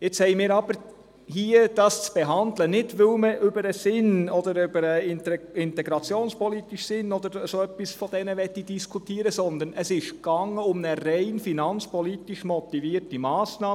Jetzt müssen wir sie hier behandeln, nicht, weil man über den Sinn, den integrationspolitischen Sinn oder solches diskutieren möchte, sondern weil es um eine rein finanzpolitisch motivierte Massnahme geht.